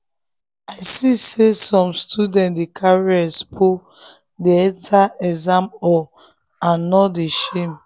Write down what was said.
i see say some students dey carry expo enter exam hall and them no shame.